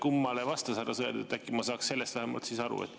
Kummale härra Sõerd vastas, äkki ma saaks sellest siis vähemalt aru?